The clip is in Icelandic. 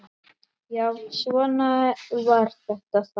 Já, svona var þetta þá.